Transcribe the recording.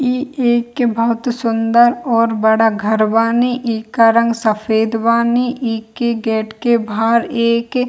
इ एक बहुत सुन्दर और बड़ा घर बानी इका रंग सफ़ेद बानी इके गेट के बाहर एक --